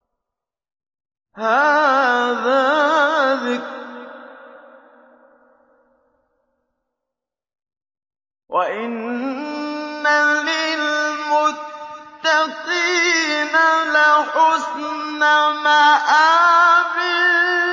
هَٰذَا ذِكْرٌ ۚ وَإِنَّ لِلْمُتَّقِينَ لَحُسْنَ مَآبٍ